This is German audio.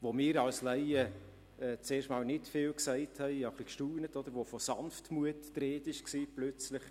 Wo wir als Laien zunächst mal nicht viel gesagt, aber gestaunt haben, ist, als plötzlich von «Sanftmut» die Rede war.